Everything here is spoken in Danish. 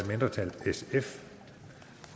mindretal